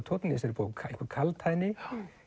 tónn í þessari bók einhver kaldhæðni